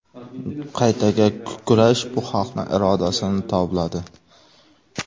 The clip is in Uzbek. Qaytaga kurash bu xalqni irodasini tobladi.